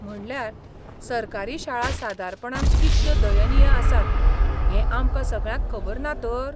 म्हणल्यार, सरकारी शाळा सादारणपणान कितल्यो दयनीय आसात हें आमकां सगळ्यांक खबर ना तर ?